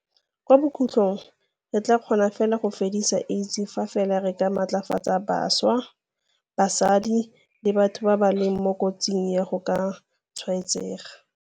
Kwa bokhutlong re tla kgona go fedisa AIDS fa fela re matlafatsa bašwa, basadi le batho ba ba leng mo kotsing ya go ka tshwaetsega.